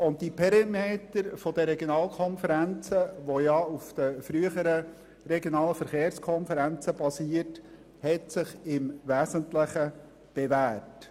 Auch die Perimeter der Regionalkonferenzen, die auf den früheren regionalen Verkehrskonferenzen basieren, haben sich im Wesentlichen bewährt.